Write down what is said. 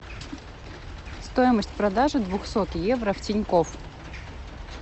стоимость продажи двухсот евро в тинькофф